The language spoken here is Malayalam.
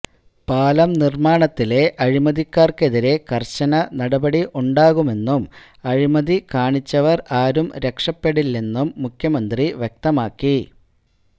പാലം നിര്മാണത്തിലെ അഴിമതിക്കാര്ക്കെതിരെ കര്ശന നടപടി ഉണ്ടാകുമെന്നും അഴിമതി കാണിച്ചവര് ആരും രക്ഷപെടില്ലെന്നും മുഖ്യമന്ത്രി വ്യക്തമാക്കി